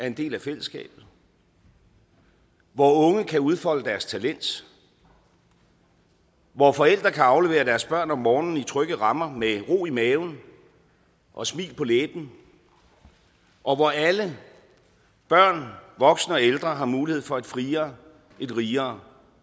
en del af fællesskabet hvor unge kan udfolde deres talent hvor forældre kan aflevere deres børn om morgenen i trygge rammer med ro i maven og smil på læben og hvor alle børn voksne og ældre har mulighed for et friere et rigere